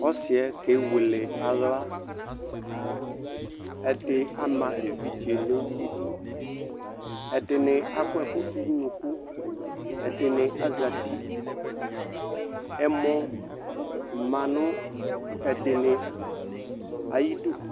Ɔsɩɛ kewele aɣla, ɛdɩ ama evidze nʋ idu , ɛdɩnɩ akɔɛkʋ dʋ n'unuku , ɛdɩnɩ azati , ɛmɔ ma nʋ ɛdɩnɩ ayidu